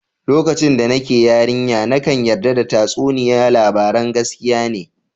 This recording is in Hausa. Lokacin da nake yarinya, nakan yarda da tatsuniya labaran gaskiya ne.